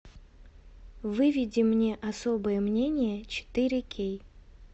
выведи мне особое мнение четыре кей